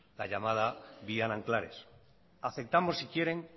la llamada vía nanclares aceptamos si quieren